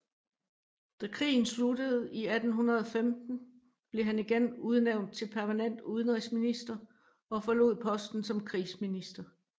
Da krigen sluttede i 1815 blev han igen udnævnt til permanent udenrigsminister og forlod posten som krigsminister